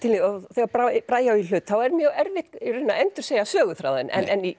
þegar Bragi Bragi á í hlut er mjög erfitt að endursegja söguþráðinn